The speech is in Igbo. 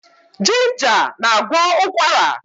Ginger na-agwọ ụkwara.